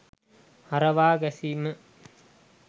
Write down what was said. හරවා ගැසීම